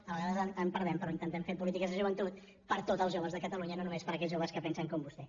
a vegades en perdem però intentem fer polítiques de joventut per a tots els joves de catalunya no només per a aquells joves que pensen com vostè